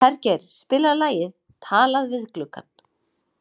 Hergeir, spilaðu lagið „Talað við gluggann“.